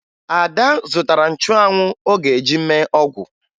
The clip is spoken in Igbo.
Ada zụtara nchụanwụ ọ ga-eji mee ọgwụ